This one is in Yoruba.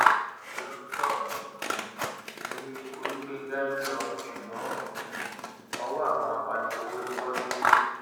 london um ni olùgbéńgá ń lọ ṣùgbọn um ọwọ àwọn apaniṣòwò ló bọ sí